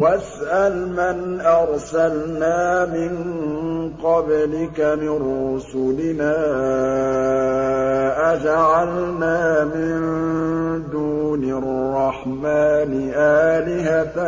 وَاسْأَلْ مَنْ أَرْسَلْنَا مِن قَبْلِكَ مِن رُّسُلِنَا أَجَعَلْنَا مِن دُونِ الرَّحْمَٰنِ آلِهَةً